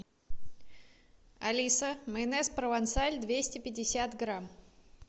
алиса майонез провансаль двести пятьдесят грамм